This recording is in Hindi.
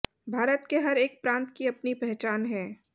भारत के हर एक प्रांत की अपनी पहचान है